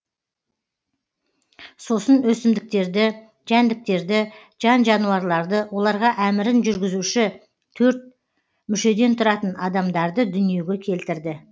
сосын өсімдіктерді жәндіктерді жан жануарларды оларға әмірін жүргізуші төрт мүшеден тұратын адамдарды дүниеге келтірді